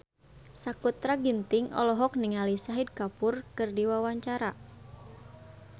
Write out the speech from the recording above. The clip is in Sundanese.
Sakutra Ginting olohok ningali Shahid Kapoor keur diwawancara